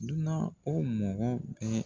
Dunan o mɔgɔ bɛ.